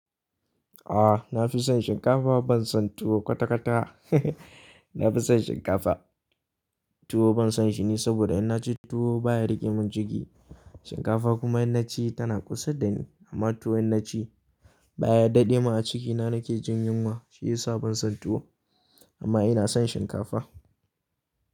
Ah na fi son shinkafa ban son tuwo kwata-kwata. Na fi son shinkafa, tuwo ban son shi ne saboda in na ci tuwo baya rike min jiki. Shinkafa kuma in na ci tana kusa da ni amma tuwo in na ci baya daɗe min a cikina nake jin yunwa shi ya sa ban son tuwo. Amma ina son shinkafa.